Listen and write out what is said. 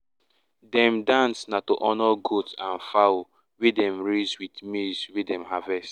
dem dance na to honour goat and fowl um wey dem raise with maize wey dem harvest.